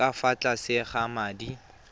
ka fa tlase ga madi